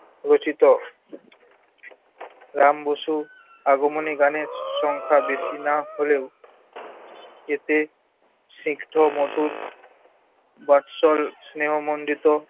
রচিত। রাম বসু আগমনী গানের সংখ্যা বেশি না হলেও এতে স্নিগ্ধ মধুর, বাৎসল স্নেহমন্ডিত